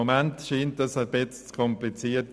Gegenwärtig erscheint es ein wenig kompliziert.